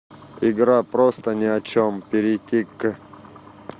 игра просто ни о чем перейти к